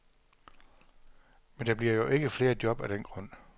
Men der bliver jo ikke flere job af den grund.